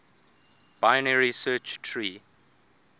binary search tree